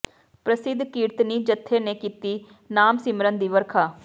ਪ੍ਰਸਿੱਧ ਕੀਰਤਨੀ ਜੱਥੇ ਨੇ ਕੀਤੀ ਨਾਮ ਸਿਮਰਨ ਦੀ ਵਰਖਾ